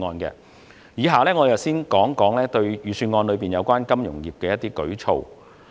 以下我會先談預算案內有關金融業的一些舉措。